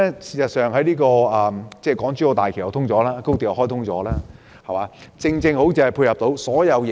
事實上，港珠澳大橋及高鐵的開通，正好配合各方面的發展。